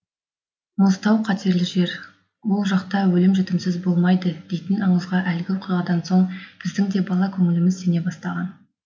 мұзтау қатерлі жер ол жақта өлім жітімсіз болмайды дейтін аңызға әлгі оқиғадан соң біздің де бала көңіліміз сене бастаған